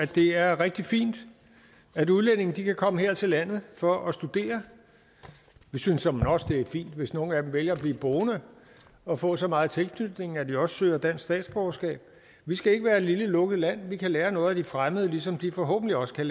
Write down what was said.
det er rigtig fint at udlændinge kan komme her til landet for at studere vi synes såmænd også det er fint hvis nogle af dem vælger at blive boende og får så meget tilknytning at de også søger dansk statsborgerskab vi skal ikke være et lille lukket land vi kan lære noget af de fremmede ligesom de forhåbentlig også kan